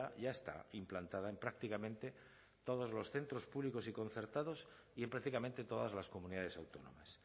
ya está implantada en prácticamente todos los centros públicos y concertados y en prácticamente todas las comunidades autónomas